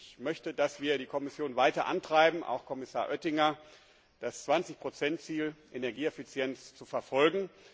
Ich möchte, dass wir die Kommission weiter antreiben, auch Kommissar Oettinger, das 20 Ziel bei der Energieeffizienz zu verfolgen.